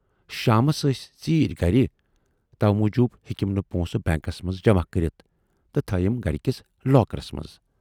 شامَس ٲسۍ ژیٖرۍ گَرِ، تَوٕ موٗجوٗب ہیکِم نہٕ پۄنٛسہٕ بینکس منز جماہ کٔرِتھ تہٕ تھٲوٮ۪م گرِ کِس لاکرس منز۔